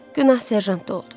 Günah serjantda oldu.